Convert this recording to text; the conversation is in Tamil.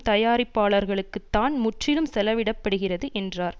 தயாரிப்புக்களுக்குத்தான் முற்றிலும் செலவிட படுகிறது என்றார்